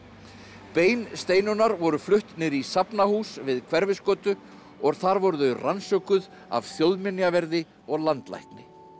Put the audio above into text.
bein Steinunnar voru flutt niður í safnahús við Hverfisgötu og þar voru þau rannsökuð af þjóðminjaverði og landlækni